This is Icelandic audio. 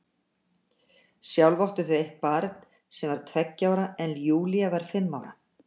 Sjálf áttu þau eitt barn sem var tveggja ára en Júlía var fimm ára.